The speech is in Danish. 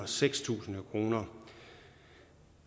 seks tusind kroner